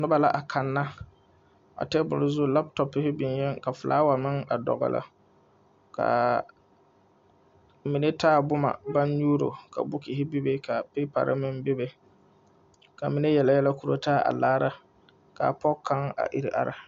Noba la a Kanna a tebul zu latɔpohi biŋee ka felaaware meŋ dogle ka mine taa boma baŋ nyuuro ka buukuhi ka peepare meŋ be be ka mine yɛlɛ yɛlɛ koro taa a laara ka pɔge kaŋa a iri are